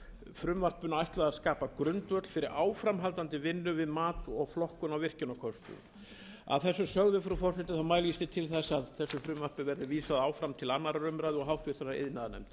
frumvarpinu ætlað að skapa grundvöll fyrir áframhaldandi vinnu við mat og flokkun á virkjunarkostum að þessu sögðu frú forseti mælist ég til þess að þessu frumvarpi verði vísað áfram til annarrar umræðu og háttvirtur iðnaðarnefndar